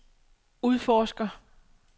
udforsker